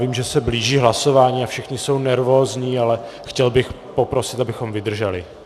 Vím, že se blíží hlasování a všichni jsou nervózní, ale chtěl bych poprosit, abychom vydrželi.